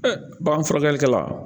bagan furakɛlikɛla